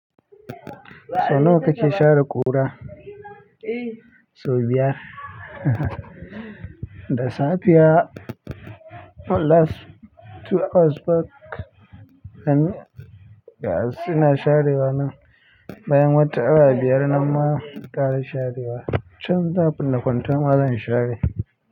Sau nawa kake share ƙura? Sau biyar. Da safiya last two hours back, an. Gasu suna sharewa nan. Bayan wata awa biyar nan ma zan ƙara sharewa. Can za a binne kwanten wa zan share.